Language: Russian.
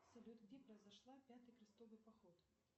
салют где произошла пятый крестовый поход